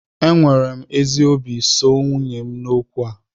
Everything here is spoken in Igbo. Enwere m ezi obi soo nwunye m n'okwu a